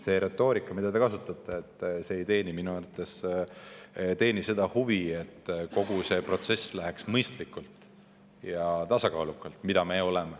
See retoorika, mida te kasutate, ei teeni minu arvates seda huvi, et kogu see protsess läheks mõistlikult ja tasakaalukalt.